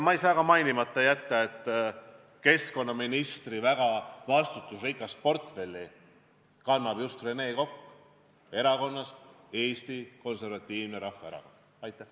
Ma ei saa ka mainimata jätta, et keskkonnaministri väga vastutusrikast portfelli kannab just Rene Kokk Eesti Konservatiivsest Rahvaerakonnast.